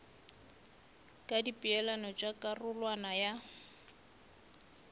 ka dipeelano tša karolwana ya